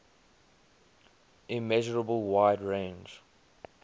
immeasurable wide range